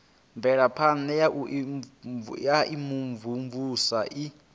mvelaphana ya u imvumvusa i